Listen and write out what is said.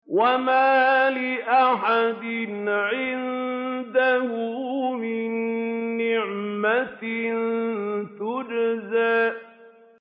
وَمَا لِأَحَدٍ عِندَهُ مِن نِّعْمَةٍ تُجْزَىٰ